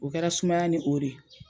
O kɛra sumaya ni o de ye.